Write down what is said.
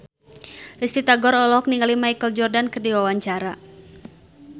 Risty Tagor olohok ningali Michael Jordan keur diwawancara